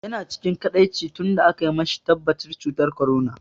Yana cikin kaɗaici tun da aka mashi tabbatacin cutar corona.